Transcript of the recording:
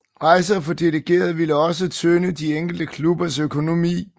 Rejser for delegerede ville også tynge de enkelte klubbers økonomi